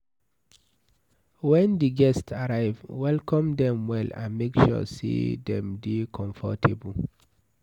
When di guests arrive, welcome dem well and make sure sey dem dey comfortable